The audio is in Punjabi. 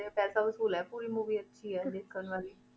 ਪੈਸਾ ਵਸੂਲ ਹੈ ਪੂਰੀ movie ਅੱਛੀ ਹੈ ਦੇਖਣ ਵਾਲੀ।